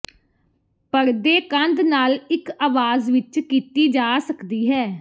ਪਰਦੇ ਕੰਧ ਨਾਲ ਇੱਕ ਆਵਾਜ਼ ਵਿੱਚ ਕੀਤੀ ਜਾ ਸਕਦੀ ਹੈ